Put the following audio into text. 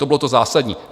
To bylo to zásadní.